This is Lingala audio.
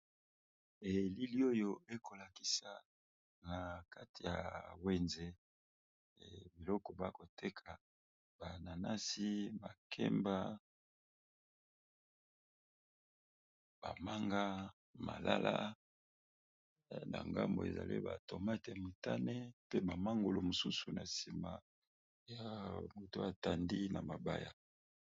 Elili oyo ekolakisa na kati ya wenze biloko bakoteka bananasi bakemba bamanga malala na ngambo ezale ba tomate mutane pe bamangulo mosusu na nsima ya moto atandi na mabaya